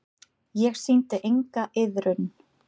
Ég sýndi enga iðrun.